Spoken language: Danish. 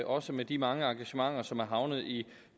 også med de mange engagementer som er havnet i